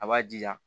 A b'a jija